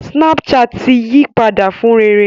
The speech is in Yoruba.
Snapchat ti yí padà fún rere